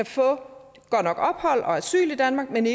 få ophold og asyl i danmark men